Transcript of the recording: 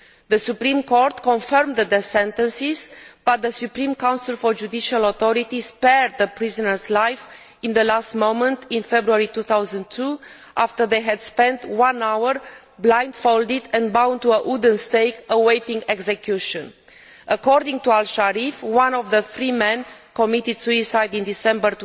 The Supreme Court confirmed the death sentences but the Supreme Council for Judicial Authority spared the prisoners' lives at the last moment in February 2002 after they had spent one hour blindfolded and bound to a wooden stake awaiting execution. According to Mr al Sharif, one of the three men committed suicide in December